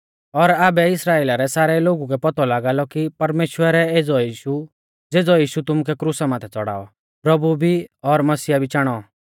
और आबै इस्राइला रै सारै लोगु कै पौतौ लागा लौ कि परमेश्‍वरै एज़ौ यीशु ज़ेज़ौ यीशु तुमुऐ क्रुसा माथै च़ड़ाऔ प्रभु भी और मसीहा भी चाणौ